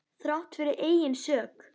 Þrátt fyrir eigin sök.